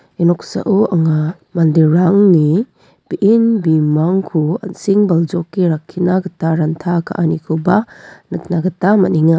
ia noksao anga manderangni be·en bimangko an·seng baljoke rakkina gita ranta ka·anikoba nikna gita man·enga.